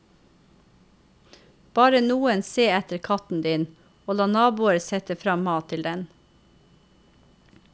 Be noen se etter katten din, og la naboer sette frem mat til den.